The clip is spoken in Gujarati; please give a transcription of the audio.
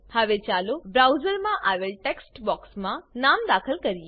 હવે ચાલો બ્રાઉઝરમાં આવેલ ટેક્સ્ટ બોક્સમાં નામ દાખલ કરીએ